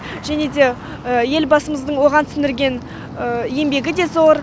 және де елбасымыздың оған сіңірген еңбегі де зор